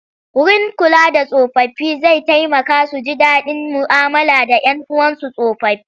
Wurin kula da tsofaffi zai taimaka su ji daɗin mu'amala da 'yan uwansu tsofaffi.